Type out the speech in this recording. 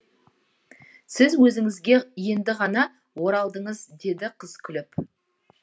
сіз өзіңізге енді ғана оралдыңыз деді қыз күліп